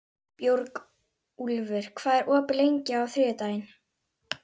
Björgúlfur, hvað er opið lengi á þriðjudaginn?